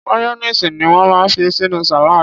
Mayonnaise ni won máa ń fi sínú salad.